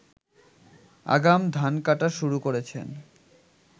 আগাম ধান কাটা শুরু করেছেন